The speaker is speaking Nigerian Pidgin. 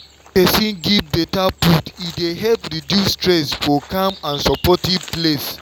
wen person give better food e dey help reduce stress for calm and supportive place.